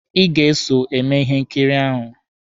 Ị ga-eso eme ihe nkiri ahụ!